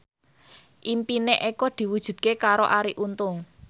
impine Eko diwujudke karo Arie Untung